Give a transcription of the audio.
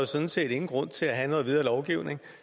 sådan set ingen grund til at have noget videre lovgivning